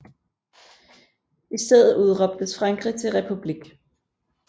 I stedet udråbtes Frankrig til republik